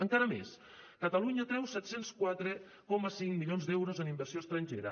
encara més catalunya atreu set cents i quatre coma cinc milions d’euros en inversió estrangera